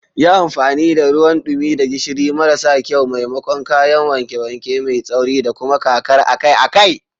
Yi amfani da ruwan dumi da gishiri maras kyau maimakon kayan wanke-wanke mai tsauri, da kuma kakar akai-akai.